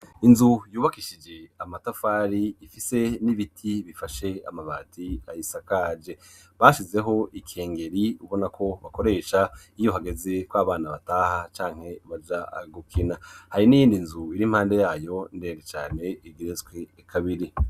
Inzu yubakishije amatafari ifise n'ibiti bifashe amabati ayisakaje bashizeho ikengeri ubona ko bakoresha iyo hageze ko abana bataha canke baja gukina hari n'iyindi nzu iri impande yayo ndende cane igeretswe kabiri.